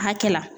Hakɛ la